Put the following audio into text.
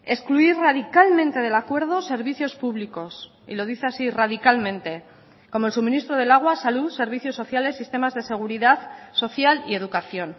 excluir radicalmente del acuerdo servicios públicos y lo dice así radicalmente como el suministro del agua salud servicios sociales sistemas de seguridad social y educación